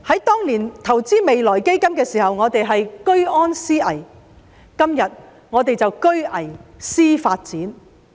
當年投資未來基金的時候，我們是居安思危，今天我們是居危思發展。